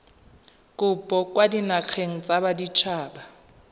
kopo kwa dinageng tsa baditshaba